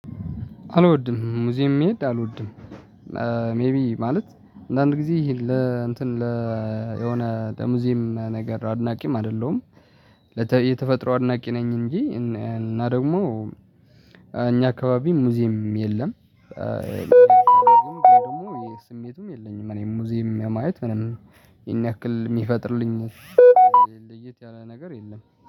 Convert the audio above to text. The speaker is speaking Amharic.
አልወድም ሙዚም መሄድ አልወድም። ሜቢ ማለት አንድ ጊዜ ይሄን ለ እንትን ለ ሆነ ለሙዚየም ነገር አድናቂም አይደለሁም። የተፈጥሮ አድናቂ ነኝ እንጂ እና ደግሞ እኛ አካባቢ ሙዚየም የለም። ደግሞ የስሜቱም የለኝም እኔ ሙዚየም የማየት ምንም ይሄን ያክል የሚፈጥርልኝ ለየት ያለ ነገር የለም